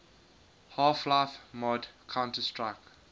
half life mod counter strike